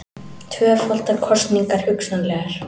Tvöfaldar kosningar hugsanlegar